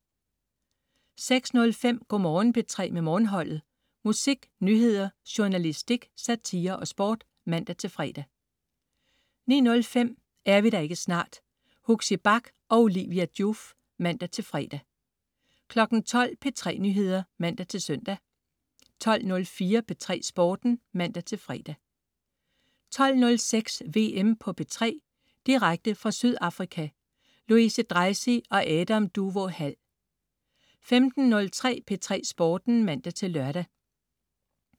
06.05 Go' Morgen P3 med Morgenholdet. Musik, nyheder, journalistik, satire og sport (man-fre) 09.05 Er vi der ikke snart? Huxi Bach og Olivia Joof (man-fre) 12.00 P3 Nyheder (man-søn) 12.04 P3 Sporten (man-fre) 12.06 VM på P3. Direkte fra Sydafrika. Louise Dreisig og Adam Duvå Hall 15.03 P3 Sporten (man-lør)